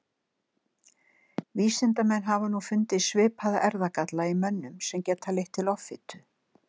vísindamenn hafa nú fundið svipaða erfðagalla í mönnum sem geta leitt til offitu